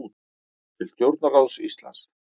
Til stjórnarráðs Íslands